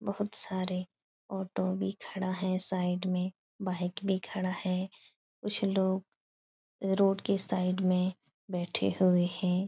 बोहोत सारे ऑटो भी खड़ा है। साइड में बाइक भी खड़ा है। कुछ लोग रोड के साइड में बैठे हुए हैं।